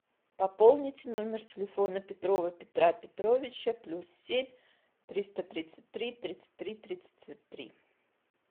пополнить номер телефона петрова петра петровича плюс семь триста тридцать три тридцать три тридцать три